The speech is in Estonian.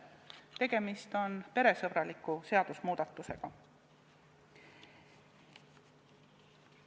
Tegemist on peresõbraliku seadusemuudatusega.